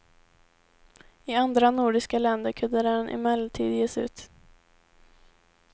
I andra nordiska länder kunde den emellertid ges ut.